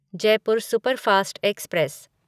Jaipur superfast express